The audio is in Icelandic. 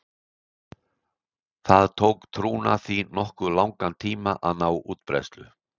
Það tók trúna því nokkuð langan tíma að ná útbreiðslu.